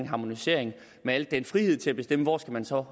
harmonisering med al den frihed til at bestemme hvor man så